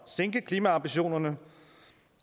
sænke klimaambitionerne